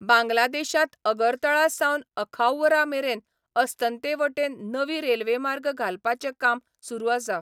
बांगलादेशांत अगरतळा सावन अखाउरा मेरेन अस्तंतेवटेन नवी रेल्वे मार्ग घालपाचें काम सुरू आसा.